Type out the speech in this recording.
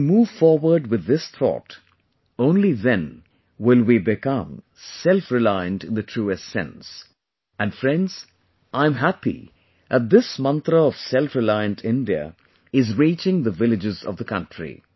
When we move forward with this thought, only then will we become selfreliant in the truest sense... and friends, I am happy that this mantra of selfreliant India is reaching the villages of the country